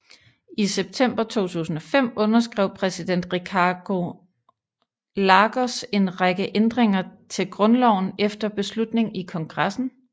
I september 2005 underskrev præsident Ricardo Lagos en række ændringer til grundloven efter beslutning i kongressen